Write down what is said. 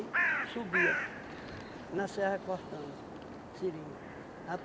subia na serra cortando seringa.